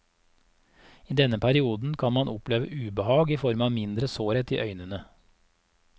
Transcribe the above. I denne perioden kan man oppleve ubehag i form av mindre sårhet i øynene.